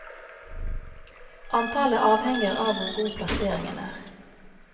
Antallet avhenger av hvor god plasseringen er.